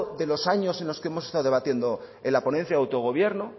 de los años en los que hemos estado debatiendo en la ponencia de autogobierno